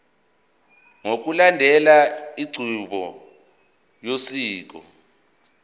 ngokulandela inqubo yosiko